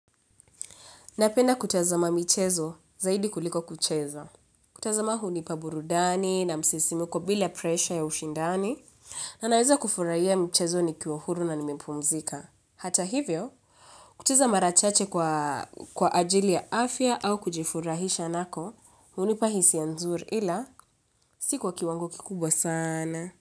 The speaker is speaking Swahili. Napenda kutazama michezo zaidi kuliko kucheza. Kutazama hunipa burudani na msisimuko bila presha ya ushindani. Na naweza kufurahia michezo nikiwa huru na nimepumzika. Hata hivyo, kucheza mara chache kwa ajili ya afya au kujifurahisha nako hunipa hisia nzuri ila si kwa kiwangu kikubwa sana.